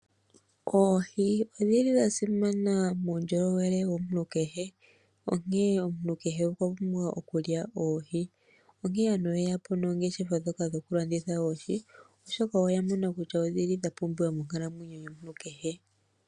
Oohi odhi li dha simana muundjolowele womuntu kehe, onkene omuntu kehe okwa pumbwa okulya oohi. Onkene aantu oye ya po nongeshefa ndjoka yokulanditha oohi, oshoka oya mona kutya odhi li dha pumbiwa monkalamwenyo yomuntu kehe.